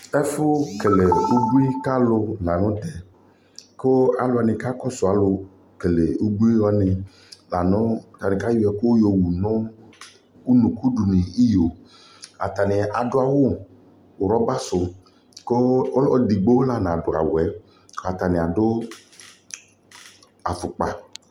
Ɛfʋkele ubui ka alʋ la nʋ tɛ kʋ alʋ wanɩ kakɔsʋ alʋkele ubui wanɩ la nʋ la kʋ ayɔ ɛkʋ yɔwu nʋ unuku dʋ nʋ iyo Atanɩ adʋ awʋ rɔbasʋ kʋ ɔlʋ edigbo la nadʋ awʋ yɛ Kʋ atanɩ adʋ afʋkpa